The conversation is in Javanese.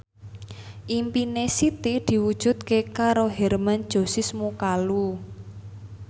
impine Siti diwujudke karo Hermann Josis Mokalu